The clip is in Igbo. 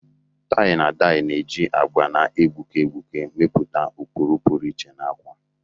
Tai-na-dayi na-eji agba na-egbuke egbuke mepụta ụkpụrụ pụrụ iche na akwa